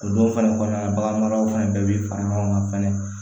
O don fɛnɛ kɔnɔna na baganmaraw fana bɛɛ bi fara ɲɔgɔn kan fɛnɛ